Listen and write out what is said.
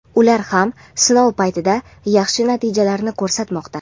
ular ham sinov paytida yaxshi natijalarni ko‘rsatmoqda.